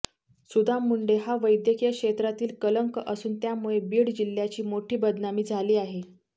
सुदाम मुंडे हा वैद्यकीय क्षेत्रातील कलंक असून त्यामुळे बीड जिल्ह्याची मोठी बदनामी झाली आहे